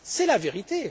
c'est la vérité.